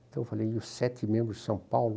Então eu falei, e os sete membros de São Paulo?